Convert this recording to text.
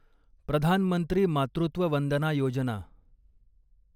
प्रधान मंत्री मातृत्व वंदना योजना